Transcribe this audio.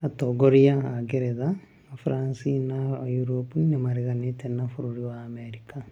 Atongoria a Ngerethe ,France na Europe nĩmareganĩte na bũrũri wa Amerika